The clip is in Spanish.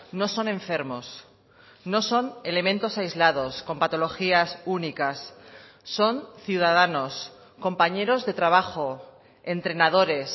no son enfermos no son elementos aislados con patologías únicas son ciudadanos compañeros de trabajo entrenadores